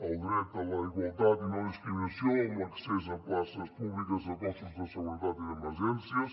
el dret a la igualtat i no discriminació en l’accés a places públiques de cossos de seguretat i d’emergències